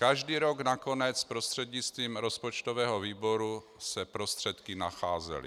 Každý rok nakonec prostřednictvím rozpočtového výboru se prostředky nacházely.